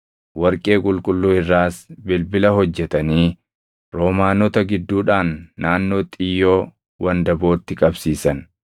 Warqee qulqulluu irraas bilbila hojjetanii roomaanota gidduudhaan naannoo xiyyoo wandabootti qabsiisan.